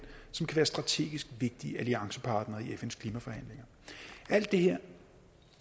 som kan være strategisk vigtige alliancepartnere i fns klimaforhandlinger alt det her